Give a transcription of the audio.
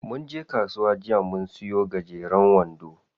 Munje kasuwa jiya mun siya gajeren wando.